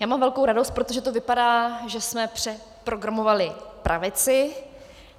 Já mám velkou radost, protože to vypadá, že jsme přeprogramovali pravici.